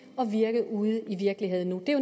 virke ude i virkeligheden det er